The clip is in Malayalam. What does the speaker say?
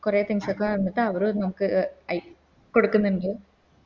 കൊറേ Things ഒക്കെ വന്നിട്ട് അവരു നമുക്ക് അര കൊടുക്ക്ന്ന്ണ്ട്